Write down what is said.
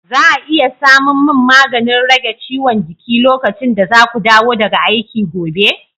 za a iya samun min maganin rage ciwon jiki lokacin da za ku dawo daga aiki gobe?